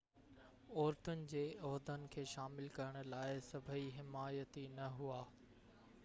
عورتن جي عهدن کي شامل ڪرڻ لاءِ سڀئي حمايتي نہ هئا